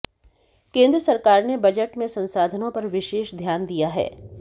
केंद्र सरकार ने बजट में संसाधनों पर विशेष ध्यान दिया है